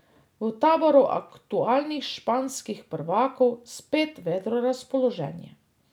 V taboru aktualnih španskih prvakov spet vedro razpoloženje.